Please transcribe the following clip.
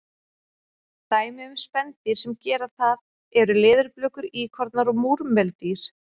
Dæmi um spendýr sem gera það eru leðurblökur, íkornar og múrmeldýr.